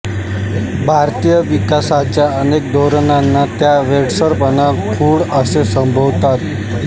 भारतातील विकासाच्या अनेक धोरणांना त्या वेडसरपणा खूळ असे संबोधतात